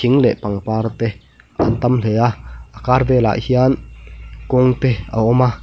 in leh pangpar te an tam hle a a kar velah hian kawng te a awma.